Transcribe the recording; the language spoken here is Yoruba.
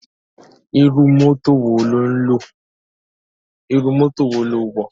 Irú mọ́tò wo lo wọ̀?